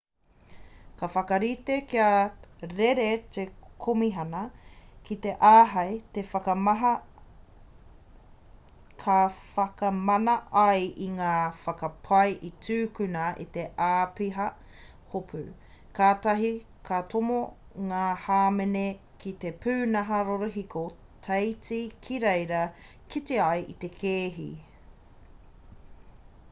ka whakarite kia rere te komihana ki te āhei ka whakamana ai i ngā whakapae i tūkuna e te āpiha hopu katahi ka tomo ngā hāmene ki te pūnaha rorohiko teiti ki reira kite ai te kēhi